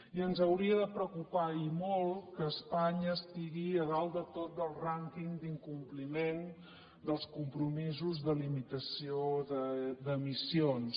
i ens hauria de preocupar i molt que espanya estigui a dalt de tot del rànquing d’incompliment dels compromisos de limitació d’emissions